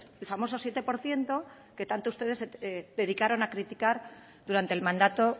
el famoso siete por ciento que tanto ustedes se dedicaron a criticar durante el mandato